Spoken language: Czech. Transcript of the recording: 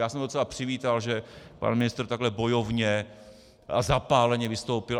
Já jsem docela přivítal, že pan ministr takhle bojovně a zapáleně vystoupil.